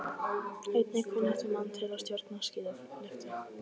Einnig kunnáttumann til að stjórna skíðalyftu.